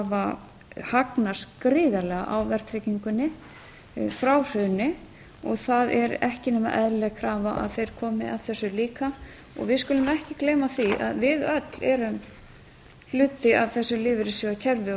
hafa hagnast gríðarlega á verðtryggingunni frá hruni það er ekki nema eðlileg krafa að þeir komi að þessu líka við skulum ekki gleyma því að við öll erum hluti af þessu lífeyrissjóðakerfi